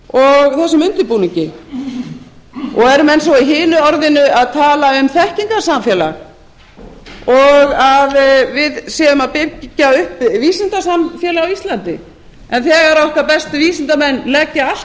hönnun og þessum undirbúningi eru menn svo í hinu orðinu að tala um þekkingarsamfélag og við séum að byggja upp vísindasamfélag á íslandi en þegar okkar bestu vísindamenn leggja allt